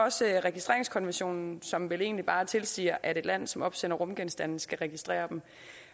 også registreringskonventionen som vel egentlig bare tilsiger at et land som opsender rumgenstande skal registrere dem